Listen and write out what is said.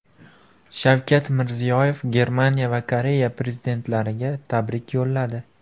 Shavkat Mirziyoyev Germaniya va Koreya prezidentlariga tabrik yo‘lladi.